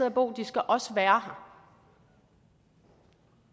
at bo de skal også være her